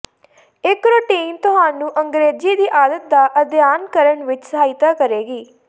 ਇਕ ਰੁਟੀਨ ਤੁਹਾਨੂੰ ਅੰਗਰੇਜ਼ੀ ਦੀ ਆਦਤ ਦਾ ਅਧਿਐਨ ਕਰਨ ਵਿੱਚ ਸਹਾਇਤਾ ਕਰੇਗੀ